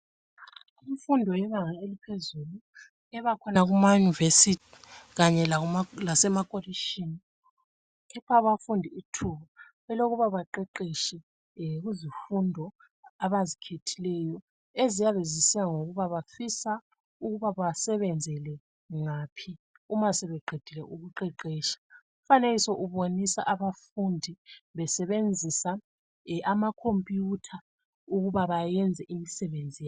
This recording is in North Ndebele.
Imfundo yebanga eliphezulu ebakhona kuma university kanye lasema kolishini. Ipha abafundi ithuba elokuba baqeqeshe kuzifundo abazikhethileyo, eziyabe zisiya ngokuba bafisa ukuba basebenzele ngaphi uma sebeqedile ukuqeqesha. Umfanekiso ubonisa abafundi besebenzisa ama computer ukuba bayenze imsebenzi yabo.